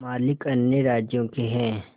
मालिक अन्य राज्यों के हैं